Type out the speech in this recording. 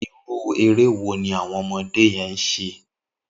Irú éré wó ni awọn ọmọdé yèn ṣé?